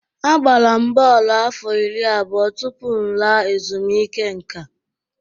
Agbara m bọọlụ afọ iri abụọ tupu m laa ezumike nká.